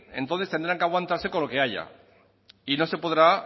entonces tendrá que aguantarse con lo que haya y no se podrá